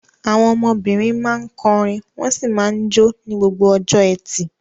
Àwọn ọmọbìnrin máa ń kọrin wọ́n sì máa ń jó ní gbogbo ọjọ́ ẹtì.